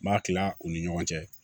N b'a tila u ni ɲɔgɔn cɛ